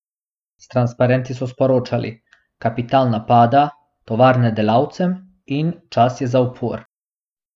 S transparenti so sporočali: "Kapital napada", "Tovarne delavcem" in "Čas je za upor".